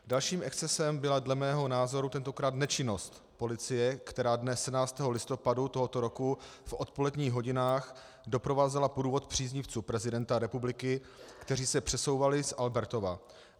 Další excesem byla dle mého názoru tentokrát nečinnost policie, která dne 17. listopadu tohoto roku v odpoledních hodinách doprovázela průvod příznivců prezidenta republiky, kteří se přesouvali z Albertova.